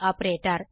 ஆப்பர்ட்டர்